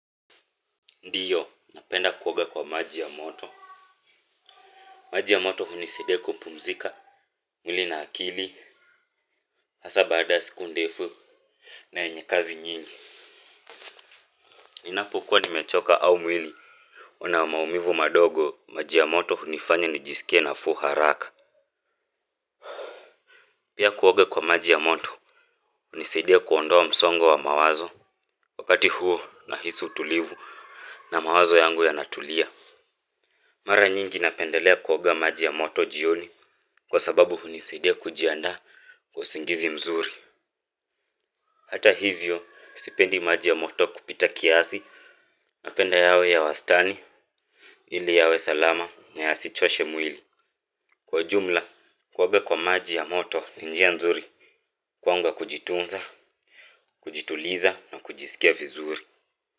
Ndiyo, napenda kuoga kwa maji ya moto. Maji ya moto hunisaidia kupumzika, mwili na akili, hasa baada siku ndefu, na yenye kazi nyingi. Ninapokuwa nimechoka au mwili, una maumivu madogo, maji ya moto hunifanya nijisikie nafuu haraka. Pia kuoga kwa maji ya moto, hunisaidia kuondoa msongo wa mawazo, wakati huo nahisi utulivu, na mawazo yangu yanatulia. Mara nyingi napendelea kuoga maji ya moto jioni kwa sababu hunisaidia kujiandaa kwa usingizi mzuri. Hata hivyo, sipendi maji ya moto kupita kiasi napenda yawe ya wastani ili yawe salama na yasichoashe mwili. Kwa jumla, kuoga kwa maji ya moto ni njia mzuri kwangu ya kujitunza, kujituliza na kujisikia vizuri.